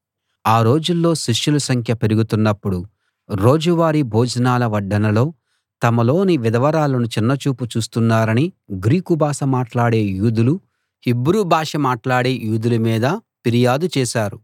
ఆ రోజుల్లో శిష్యుల సంఖ్య పెరుగుతున్నపుడు రోజువారీ భోజనాల వడ్డనల్లో తమలోని విధవరాళ్ళను చిన్నచూపు చూస్తున్నారని గ్రీకు భాష మాట్లాడే యూదులు హీబ్రూ భాష మాట్లాడే యూదుల మీద ఫిర్యాదు చేశారు